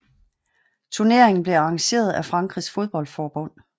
Turneringen blev arrangeret af Frankrigs fodboldforbund